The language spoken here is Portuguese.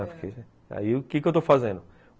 O que que eu estou fazendo?